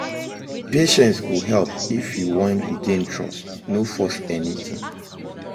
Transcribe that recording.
Patience go help if you wan regain trust, no force things